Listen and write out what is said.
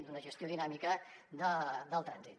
d’una gestió dinàmica del trànsit